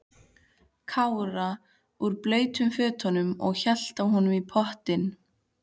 Kára úr blautum fötunum og hélt á honum í pottinn.